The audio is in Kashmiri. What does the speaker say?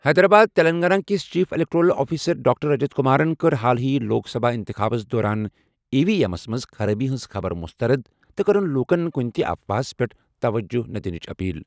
حیدرآباد تیٚلنٛگانہ کِس chief electoral officer doctor Rajat کمارَن کٔر حالٕے لوک سبھا اِنتِخابس دوران ای وی ایمَس منٛز خرٲبی ہٕنٛزِ خبرٕ مسترد تہٕ کٔرٕن لوٗکَن کُنہِ تہِ افواہَس پٮ۪ٹھ توجہ نہٕ دِنٕچ اپیل.